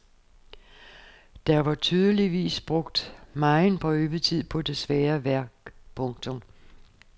Der var tydeligvis brugt megen prøvetid på det svære værk. punktum